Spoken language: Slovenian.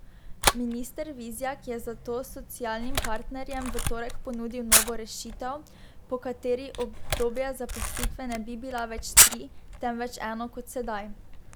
Minister Vizjak je zato socialnim partnerjem v torek ponudil novo rešitev, po kateri obdobja zaposlitve ne bi bila več tri, temveč eno kot sedaj.